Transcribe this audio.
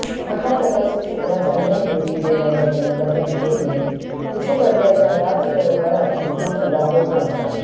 महातपस्वी शुक्राचार्यांनी दिलेल्या या भयंकर धमकीने वृषपर्व्याच्या राज दरबारात मोठाच हलकल्लोळ माजला